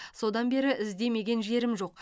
содан бері іздемеген жерім жоқ